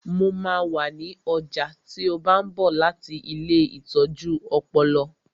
Mo máa wà ní ọjà tí ó bá ń bọ̀ láti ilée ìtọ́jú ọpọlọ